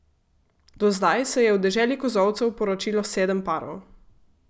Do zdaj se je v Deželi kozolcev poročilo sedem parov.